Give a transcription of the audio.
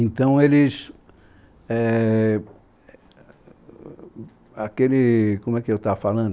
Então aqueles, éh... Como é que eu estava falando?